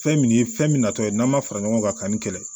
Fɛn min ye fɛn min natɔ ye n'an ma fara ɲɔgɔn kan ka nin kɛlɛ